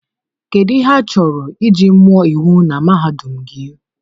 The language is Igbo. Kedu ihe achọrọ iji mụọ iwu na mahadum gị?